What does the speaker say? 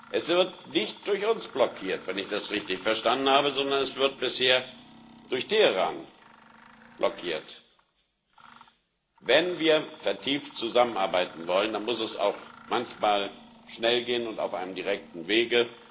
Es wird nicht durch uns blockiert, wenn ich das richtig verstanden habe, sondern es wird bisher durch Teheran blockiert. Wenn wir vertieft zusammenarbeiten wollen, dann muss es manchmal auch schnell gehen und auf einem direkten Wege.